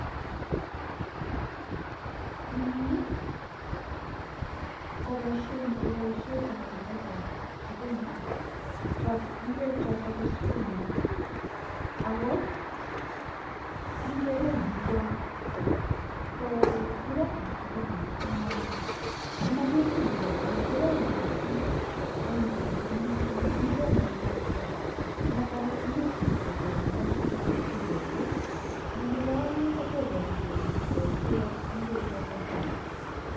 eng yuu kopaishet kopaisheet ap ingweek ap sukuma tileet am sukuma komanyumnyum missing amun akoi itilgeii amun toma inai olekitilndoi anan akoi konget keut